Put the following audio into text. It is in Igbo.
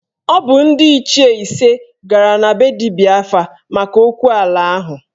Ọ bụ ndị Ichie ise gara na be dibịa afa maka okwu ala ahụ